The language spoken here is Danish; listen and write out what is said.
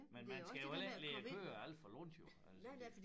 Men man skal jo heller ikke lige køre alt for langt jo altså